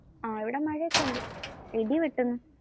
ആ ഇവിടെ മഴ ഒക്കെ ഉണ്ട്. ഇടി വെട്ടുന്നു.